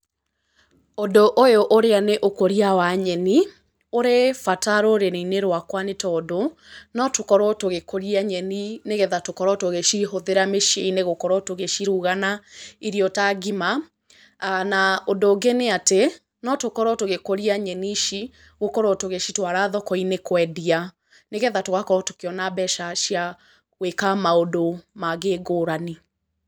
Ũndũ ũyũ ũrĩa nĩ ũkũria wa nyeni, ũrĩ bata rũrĩrĩ-inĩ rwakwa nĩ tondũ, no tũkorwo tũgĩkũria nyeni, nĩgetha tũkorwo tũgĩcihũthĩra mĩciĩ-inĩ gũkorwo tũgĩciruga na irio ta ngima. Na ũndũ ũngĩ níĩ atĩ no tũkorwo tũgĩkũria nyeni ici gũkorwo tũgĩcitwara thoko-inĩ kũendia, nĩgetha tũgakorwo tũkĩona mbeca cia gwĩka maũndũ mangĩ ngũrani.